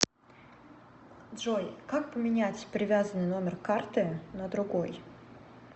джой как поменять привязанный номер карты на другой